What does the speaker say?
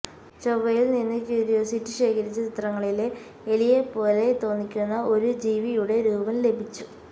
ചൊവ്വയില് നിന്ന് ക്യൂരിയോസിറ്റി ശേഖരിച്ച ചിത്രങ്ങളില് എലിയെപോലെ തോന്നിക്കുന്ന ഒരു ജീവിയുടെ രൂപം ലഭിച്ചു